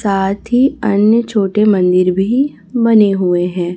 साथ ही अन्य छोटे मंदिर भी बने हुए हैं।